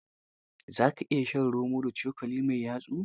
Za ka iya shan romo da cokali mai yatsu?